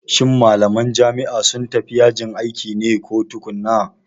Shin malaman jami'a sun tafi yajin aiki ne ko tukuna?